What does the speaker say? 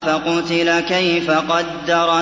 فَقُتِلَ كَيْفَ قَدَّرَ